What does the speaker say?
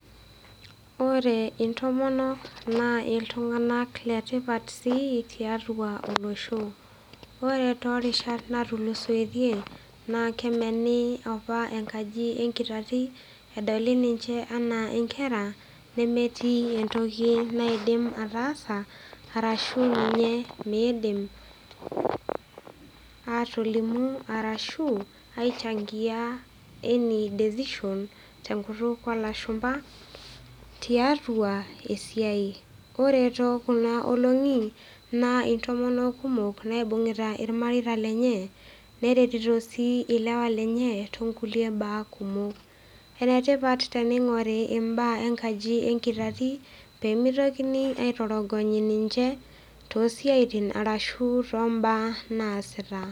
Ore intomon naa iltunganak letipat sii tiatua olosho . Ore tolarin apa otulusoitie naa kemini apa enkaji enkitati , kedoli ninche anaa nkera nemetii entoki naidim ataasa arashu inye mindim atolimu arashu ninye ainchangia any decision tenkutuk olashumba tiatua esiai. Ore tookuna olongi naa intomonok kumok naibungita irmareita lenye , neretito sii ilewa lenye toonkulie baa kumok . Enetipat teningor imbaa enkaji enkitati pemitokitini aitorogony ninche tosiatin arashu toombaa naasita.